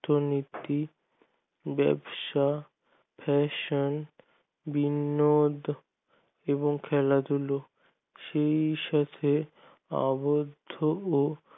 অর্থনীতি ব্যবসা fashion বিনোদন এবং খেলাধুলো সেই সাথে আবদ্ধ ও